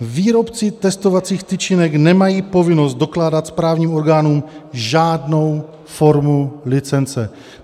Výrobci testovacích tyčinek nemají povinnost dokládat správním orgánům žádnou formu licence.